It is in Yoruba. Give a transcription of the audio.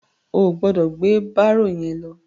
O ò gbọdọ̀ gbé bárò yẹn lọ.